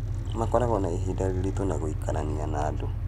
Makoragwo na ihinda rĩrĩtũ na gwĩkarania na andũ.